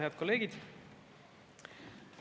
Head kolleegid!